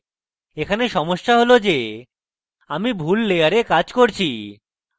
এখানে সমস্যা হল যে আমি ভুল layer কাজ করছি